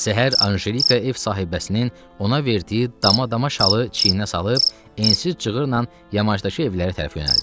Səhər Anjelika ev sahibəsinin ona verdiyi dama-dama şalı çiyinə salıb, ensiz cığırla yamaşdakı evlərə tərəf yönəldi.